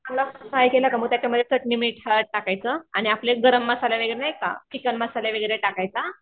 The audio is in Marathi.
त्याला फ्राय केला का मग त्याच्यामध्ये चटणी मीठ हळद टाकायचं आणि आपले गरम मसाला वगैरे नाही का चिकन मसाला वगैरे टाकायचा.